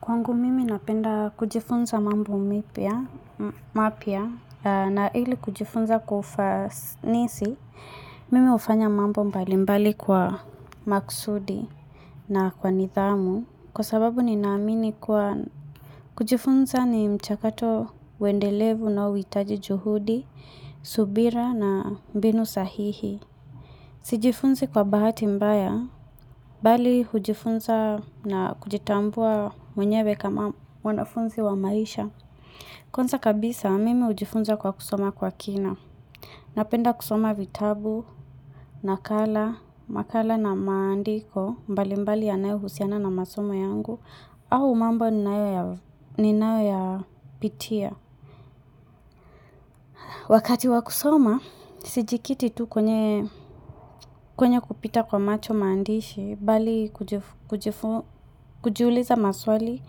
Kwangu mimi napenda kujifunza mambo mipya, mapya, na ili kujifunza kwa ufanisi, mimi hufanya mambo mbalimbali kwa maksudi na kwa nidhamu, kwa sababu ninaamini kuwa kujifunza ni mchakato uendelevu unaoitaji juhudi, subira na mbinu sahihi. Sijifunzi kwa bahati mbaya, bali hujifunza na kujitambua mwenyewe kama wanafunzi wa maisha. Kwanza kabisa mimi hujifunza kwa kusoma kwa kina. Napenda kusoma vitabu, nakala, makala na maandiko, mbalimbali yanayohusiana na masomo yangu, au mambo ninayoyapitia. Wakati wa kusoma, sijikiti tu kwenye kupita kwa macho maandishi, bali kujiuliza maswali,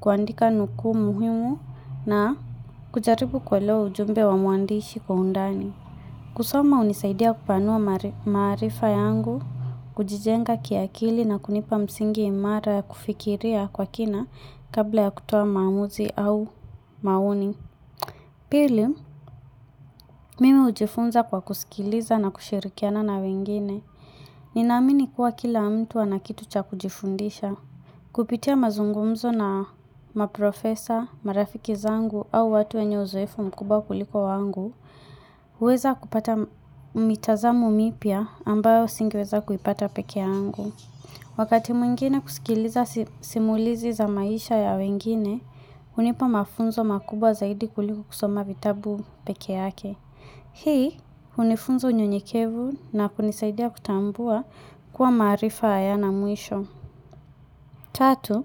kuandika nukuu muhimu na kujaribu kuelewa ujumbe wa mwandishi kwa undani. Kusoma hunisaidia kupanua maarifa yangu, kujijenga kiakili na kunipa msingi imara ya kufikiria kwa kina kabla ya kutoa maamuzi au maoni. Pili, mimi hujifunza kwa kusikiliza na kushirikiana na wengine, ninaamini kuwa kila mtu ana kitu cha kujifundisha. Kupitia mazungumzo na maprofesa, marafiki zangu au watu wenye uzoefu mkubwa kuliko wangu, huweza kupata mitazamo mipya ambayo singeweza kuipata peke yangu. Wakati mwingine kusikiliza simulizi za maisha ya wengine, hunipa mafunzo makubwa zaidi kuliku kusoma vitabu peke yake. Hii, hunifunza unyenyekevu na kunisaidia kutambua kuwa maarifa hayana mwisho. Tatu,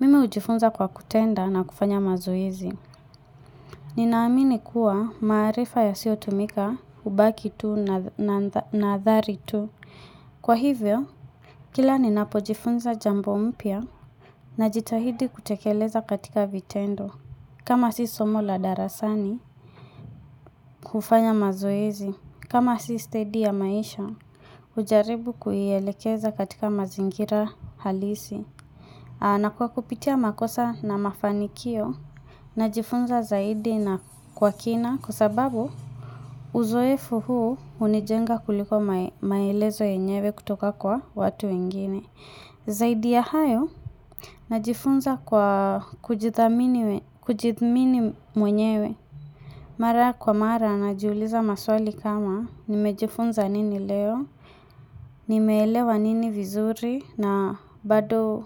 mimi hujifunza kwa kutenda na kufanya mazoezi. Ninaamini kuwa maarifa yasiotumika, hubaki tu na nathari tu. Kwa hivyo, kila ninapojifunza jambo mpya najitahidi kutekeleza katika vitendo. Kama si somo la darasani, kufanya mazoezi, kama si steady ya maisha, hujaribu kuielekeza katika mazingira halisi. Na kwa kupitia makosa na mafanikio, najifunza zaidi na kwa kina, kwa sababu uzoefu huu hunijenga kuliko maelezo yenyewe kutoka kwa watu wengine. Zaidi ya hayo, najifunza kwa kujithamini mwenyewe. Mara kwa mara, najiuliza maswali kama, nimejifunza nini leo, nimeelewa nini vizuri, na bado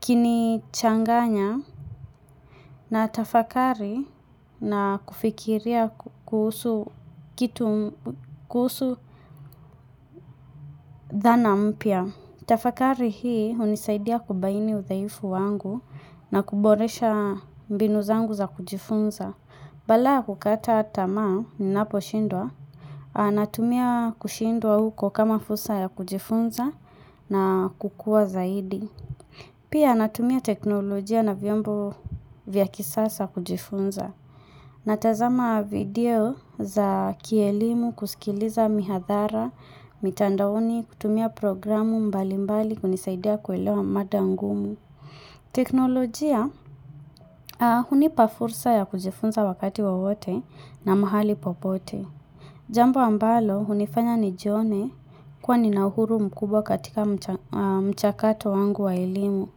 kinichanganya, natafakari na kufikiria kuhusu kitu, kuhusu dhana mpya. Tafakari hii hunisaidia kubaini udhaifu wangu na kuboresha mbinu zangu za kujifunza. Balaa ya kukata tamaa ninaposhindwa, a natumia kushindwa huko kama fursa ya kujifunza na kukua zaidi. Pia natumia teknolojia na vyombo vya kisasa kujifunza. Natazama video za kielimu kusikiliza mihadhara, mitandaoni, kutumia programu mbalimbali kunisaidia kuelewa mada ngumu. Teknolojia, hunipa fursa ya kujifunza wakati wowote na mahali popote. Jambo ambalo, hunifanya nijione kuwa nina uhuru mkubwa katika mchakato wangu wa elimu.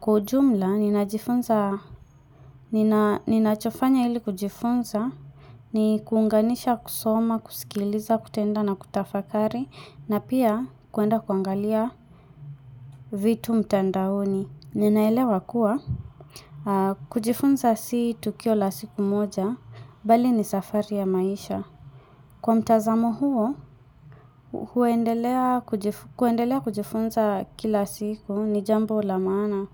Kwa ujumla, ninachofanya ili kujifunza ni kuunganisha kusoma, kusikiliza, kutenda na kutafakari na pia kuenda kuangalia vitu mtandaoni. Ninaelewa kuwa, kujifunza si tukio la siku moja, bali ni safari ya maisha. Kwa mtazamo huo, kuendelea kujifunza kila siku ni jambo la maana.